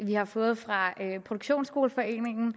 vi har fået fra produktionsskoleforeningen og